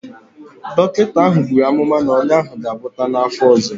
Dọkịta ahụ buru amụma na ọnya ahụ ga-agwọta n'afọ ọzọ.